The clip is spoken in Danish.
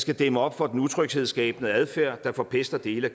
skal dæmme op for den utryghedsskabende adfærd der forpester dele af